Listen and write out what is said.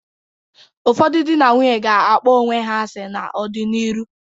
Ụfọdụ dị na nwunye ga-akpọ onwe ha asị n'ọ dị n'ịrụ.